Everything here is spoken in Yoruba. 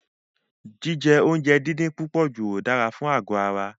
Jíjẹ oúnjẹ díndín pípọ̀jù ò dára fún àgọ̀ ara.